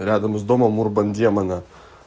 рядом с домом урбан демона